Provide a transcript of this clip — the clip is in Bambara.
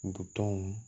Butɔnw